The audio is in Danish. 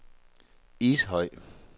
Ishøj